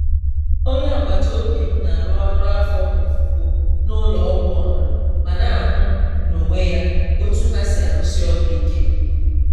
Onye agbata obi m na-arụ ọrụ afọ ofufo n'ụlọ ọgwụ ọha ma na-ahụ n'onwe ya otú ha si arụsi ọrụ ike.